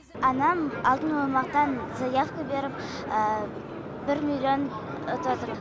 анам алтын оймақтан заявка беріп бір миллион ұтып отыр